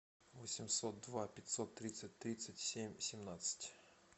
восемьсот два пятьсот тридцать тридцать семь семнадцать